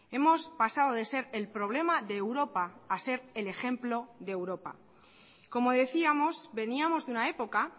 hemos pasado de ser el problema de europa a ser el ejemplo de europa como decíamos veníamos de una época